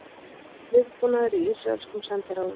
Viðbúnaður í ísraelskum sendiráðum